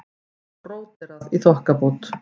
Og bróderað í þokkabót.